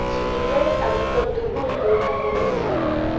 Chig'ilet ab kotugul eng' kamanut